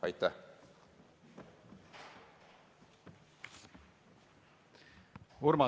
Aitäh!